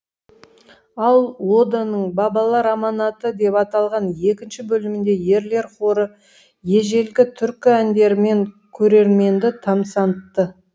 ал оданың бабалар аманаты деп аталған екінші бөлімінде ерлер хоры ежелгі түркі әндерімен көрерменді тамсантты